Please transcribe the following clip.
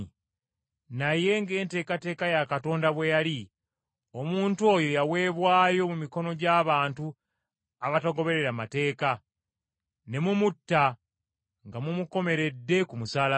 Naye ng’enteekateeka ya Katonda bwe yali, omuntu oyo yaweebwayo mu mikono gy’abantu abatagoberera mateeka, ne mumutta nga mumukomeredde ku musaalaba.